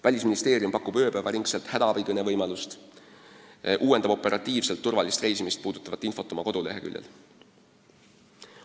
Välisministeerium pakub ööpäevaringset hädaabikõne võimalust ja uuendab operatiivselt turvalist reisimist puudutavat infot oma kodulehel.